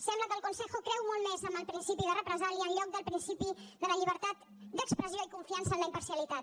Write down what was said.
sembla que el consejo creu molt més en el principi de represàlia en lloc del principi de la llibertat d’expressió i confiança en la imparcialitat